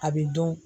A bɛ dɔn